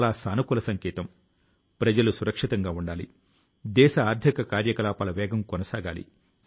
మన స్వప్నాలు మన సమాజం మన దేశం అభివృద్ధి కి సంబంధించినవి గా ఉంటాయి